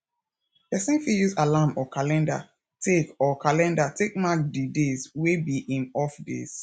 person fit use alarm or calender take or calender take mark di days wey be im off days